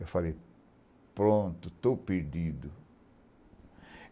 Eu falei, pronto, estou perdido.